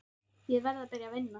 Ég verð að byrja að vinna.